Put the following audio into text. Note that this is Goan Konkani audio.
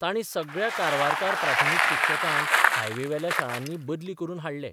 तांणी सगळ्या कारवारकार प्राथमीक शिक्षकांक हाय वे बेल्या शाळांनी बदली करून हाडले.